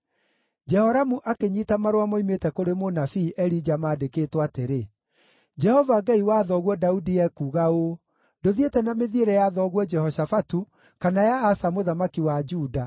Jehoramu akĩnyiita marũa moimĩte kũrĩ mũnabii Elija maandĩkĩtwo atĩrĩ: “Jehova Ngai wa thoguo Daudi ekuuga ũũ: ‘Ndũthiĩte na mĩthiĩre ya thoguo Jehoshafatu, kana ya Asa mũthamaki wa Juda.